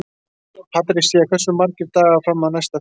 Patrisía, hversu margir dagar fram að næsta fríi?